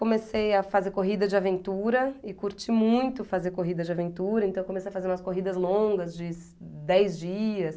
Comecei a fazer corrida de aventura e curti muito fazer corrida de aventura, então eu comecei a fazer umas corridas longas de dez dias.